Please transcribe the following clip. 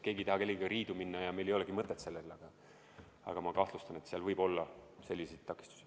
Keegi ei taha kellegagi riidu minna ja sellel ei olegi mõtet, aga ma kahtlustan, et seal võib olla selliseid takistusi.